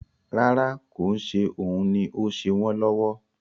Rárá, kò ń ṣe òun ni ó ń ṣe wọn lọ́wọ́